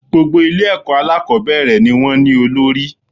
Gbogbo Ilé èkó alákòbéèrè ni wón ní olórí